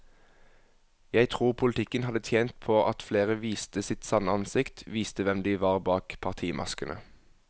Jeg tror politikken hadde tjent på at flere viste sitt sanne ansikt, viste hvem de var bak partimaskene.